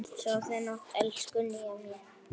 Sofðu rótt, elsku Nýja mín.